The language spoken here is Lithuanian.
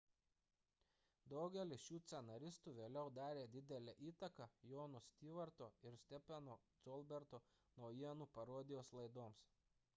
daugelis šių scenaristų vėliau darė didelę įtaką jono stewarto ir stepheno colberto naujienų parodijos laidoms